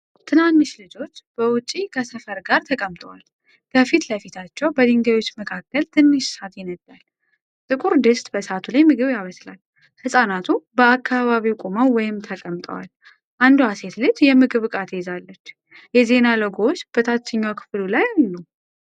ትናንሽ ልጆች በውጪ ከሰፈር ጋር ተቀምጠዋል። ከፊት ለፊታቸው በድንጋዮች መካከል ትንሽ እሳት ይነዳል። ጥቁር ድስት በእሳቱ ላይ ምግብ ያበስላል። ህፃናቱ በአካባቢው ቆመው ወይም ተቀምጠዋል። አንዷ ሴት ልጅ የምግብ ዕቃ ትይዛለች። የዜና ሎጎዎች በታችኛው ክፍል ላይ አሉ።